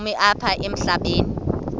ubomi apha emhlabeni